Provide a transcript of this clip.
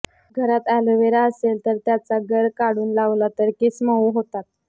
घरात अॅलोव्हेरा असेल तर त्याचा गर काढुन लावला तर केस मउ होतात